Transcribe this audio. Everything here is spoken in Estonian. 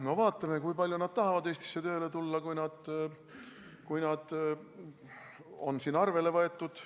No vaatame, kui palju nad tahavad Eestisse tööle tulla, kui nad on siin arvele võetud.